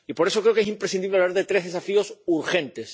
Y, por eso, creo que es imprescindible hablar de tres desafíos urgentes.